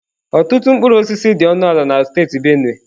Ọtụtụ mkpụrụ osisi dị ọnụ ala na steeti Benue.